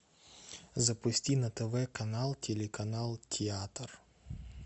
запусти на тв канал телеканал театр